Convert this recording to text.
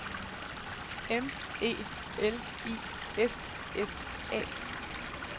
M E L I S S A